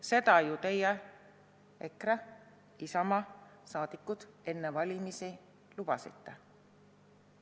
Seda ju teie, EKRE ja Isamaa, enne valimisi lubasite.